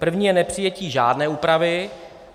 První je nepřijetí žádné úpravy.